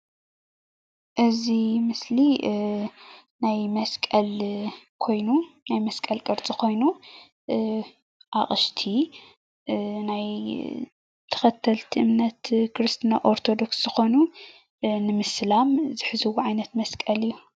እዚ ምስሊ መስቀል ቅርፂ ኮይኑ ናይ ኦርቶዶክስ ክርስትና እምነት ተኸተልቲ ዝኾኑ ንምስላም ዝሕዝዎ ዓይነት መስቀል እዩ፡፡